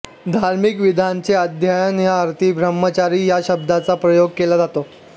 धार्मिक विद्यांचे अध्ययन या अर्थी ब्रह्मचर्य या शब्दाचा प्रयोग केला जातो